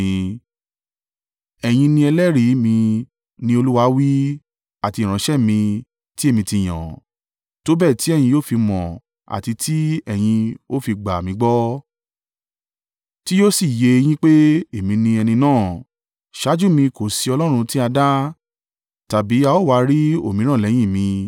“Ẹ̀yin ni ẹlẹ́rìí mi,” ni Olúwa wí, “Àti ìránṣẹ́ mi tí èmi ti yàn, tó bẹ́ẹ̀ tí ẹ̀yin yóò fi mọ̀ àti tí ẹ̀yin ó fi gbà mí gbọ́ tí yóò sì yé e yín pé èmi ni ẹni náà. Ṣáájú mi kò sí ọlọ́run tí a dá, tàbí a ó wa rí òmíràn lẹ́yìn mi.